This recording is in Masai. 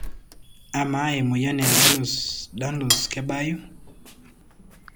Ama emoyian e Ehlers-Danlos kebayu?